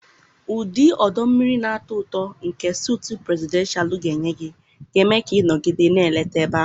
Ụdị ọdọ mmiri na-atọ ụtọ nke sutu presidenshalu ga-enye gị ga-eme ka ị nọgide na-eleta ebe ahụ.